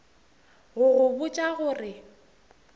go go botša go re